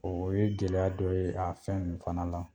O ye gɛlɛya dɔ ye a fɛn nun fana la.